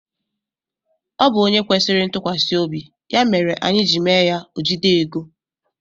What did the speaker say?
Ọ bụ ónyé kwesịrị ntukwasiobi ya mere anyị ji mee ya ojide égo.